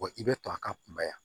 i bɛ to a ka kunbaya